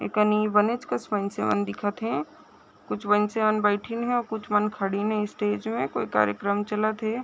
एकनि बनेच कस मन से मन दिखत है कुछ बंसीवन बैठीन है कुछ मन खड़ीन है स्टेज में कोई कार्यक्रम चलत हे।